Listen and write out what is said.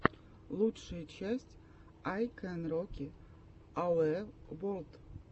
лучшая часть ай кэн роки ауэ ворлд